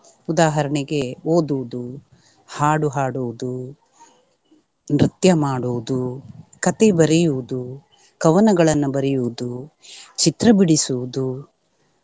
ಉದಾಹರಣೆಗೆ ಓದುವುದು, ಹಾಡು ಹಾಡುವುದು, ನೃತ್ಯ ಮಾಡುವುದು, ಕಥೆ ಬರೆಯುವುದು, ಕವನಗಳನ್ನ ಬರೆಯುವುದು, ಚಿತ್ರ ಬಿಡಿಸುವುದು.